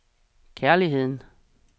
kærligheden